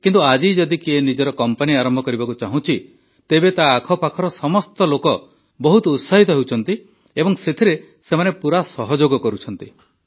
କିନ୍ତୁ ଆଜି ଯଦି କିଏ ନିଜର କମ୍ପାନୀ ଆରମ୍ଭ କରିବାକୁ ଚାହୁଁଛି ତେବେ ତା ଆଖପାଖର ସମସ୍ତ ଲୋକ ବହୁତ ଉତ୍ସାହିତ ହେଉଛନ୍ତି ଏବଂ ସେଥିରେ ସେମାନେ ପୁରା ସହଯୋଗ କରୁଛନ୍ତି